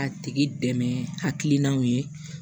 A tigi dɛmɛ hakilinaw ye